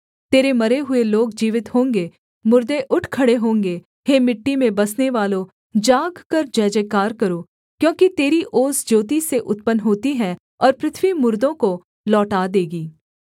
तेरे मरे हुए लोग जीवित होंगे मुर्दे उठ खड़े होंगे हे मिट्टी में बसनेवालो जागकर जयजयकार करो क्योंकि तेरी ओस ज्योति से उत्पन्न होती है और पृथ्वी मुर्दों को लौटा देगी